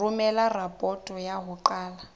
romela raporoto ya ho qala